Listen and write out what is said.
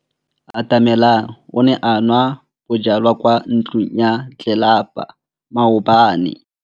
Atamelang o ne a nwa bojwala kwa ntlong ya tlelapa maobane.